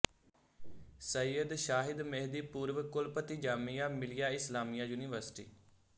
ਸਈਦ ਸ਼ਾਹਿਦ ਮੇਹਦੀ ਪੂਰਵ ਕੁਲਪਤੀ ਜਾਮੀਆ ਮਿਲੀਆ ਇਸਲਾਮੀਆ ਯੂਨੀਵਰਸਿਟੀ